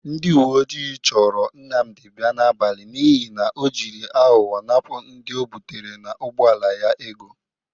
Ndị uwe ojii chọrọ Nnamdị bia n'abalị n'ihi na ọ jiri aghọghọ napụ ndị o bụtere n'ụgbọala ya ego